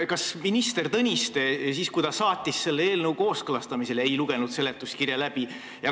Kas minister Tõniste, siis kui ta saatis selle eelnõu kooskõlastamisele, ei lugenud seletuskirja läbi?